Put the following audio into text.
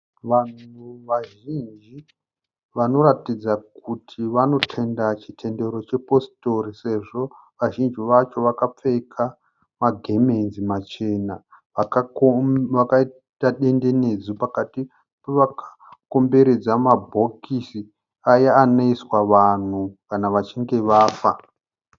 Vanhu vazhinji vanoratidza kuti vanotenda chitendero chepositori sezvo vazhinji vacho vakapfeka magemenzi machena. Vakaita dendenedzwa pakati vakakomberedza mabhokisi aya anoiswa vanhu kana vachinge vafa.